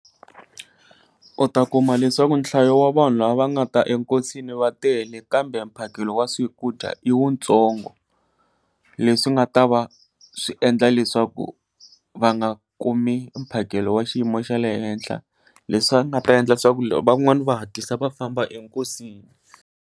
U ta kuma leswaku nhlayo wa vanhu va nga ta enkosini va tele kambe mphakelo wa swakudya i wu ntsongo, leswi nga ta va swi endla leswaku va nga kumi mphakelo wa xiyimo xa le henhla leswi nga ta endla swa ku van'wani va hatlisa va famba enkosini.